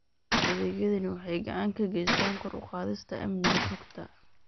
Adeegyadani waxay gacan ka geystaan ??kor u qaadista amniga xogta.